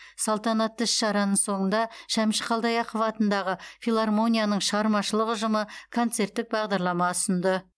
салтанатты іс шараның соңында шәмші қалдаяқов атындағы филармонияның шығармашылық ұжымы концерттік бағдарлама ұсынды